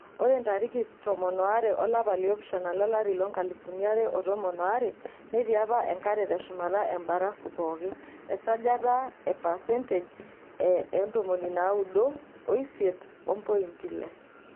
Ore ntariki 12 olapa loipasha lolari le 2012 netii apa enkare teshumata embarafu pooki[esajata e 98.6%].